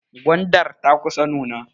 Gwandar ta kusa nuna.